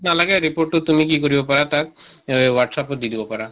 নালাগে report টো তুমি কি কৰিব পাৰা তাক এহ whatsapp ত দি দিব পাৰা।